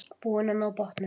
Búin að ná botninum